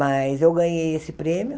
Mas eu ganhei esse prêmio,